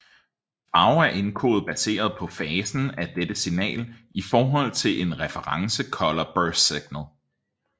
Farve er indkodet baseret på fasen af dette signal i forhold til et reference color burst signal